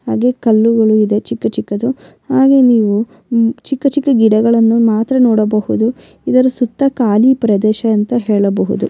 ಹಾಗೆ ಕಲ್ಲುಗಳು ಇದೆ ಚಿಕ್ಕ ಚಿಕ್ಕದ್ದು ಹಾಗೆ ನೀವು ಚಿಕ್ಕ ಚಿಕ್ಕ ಗಿಡಗಳನ್ನು ಮಾತ್ರ ನೋಡಬಹುದು ಇದರ ಸುತ್ತ ಖಾಲಿ ಪ್ರದೇಶ ಅಂತ ಹೇಳಬಹುದು.